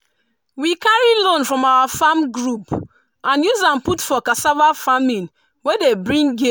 we carry loan from our farm group and use am put for cassava farming wey dey bring gain.